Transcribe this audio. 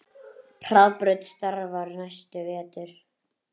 Hergerður, bókaðu hring í golf á sunnudaginn.